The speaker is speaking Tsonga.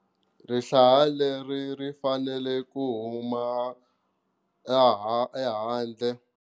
Rihlanga leri ri fanele ku humela le handle.